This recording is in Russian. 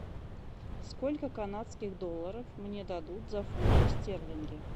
сколько канадских долларов мне дадут за фунты стерлинги